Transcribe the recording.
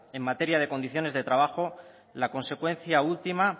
en materia de condiciones de trabajo la consecuencia última